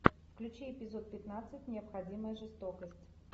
включи эпизод пятнадцать необходимая жестокость